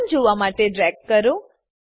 સંબંધ જોવા માટે ડ્રેગ કરો